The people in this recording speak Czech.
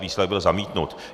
Výsledek byl zamítnut.